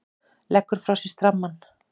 Leggur frá sér strammann.